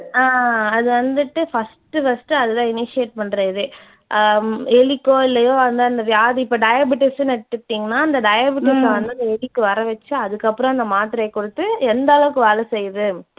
அஹ் அது வந்துட்டு first உ first உ அது தான் initiate பண்ற இதே. ஹம் எலிக்கோ இல்லையோ அந்தந்த வியாதி இப்ப diabetes ன்னு எடுத்துக்கிட்டீங்கன்னா அந்த diabetes அ வந்து அந்த எலிக்கு வரவச்சு அதுக்கப்புறம் அந்த மாத்திரையைக் கொடுத்து எந்தளவுக்கு வேலை செய்து.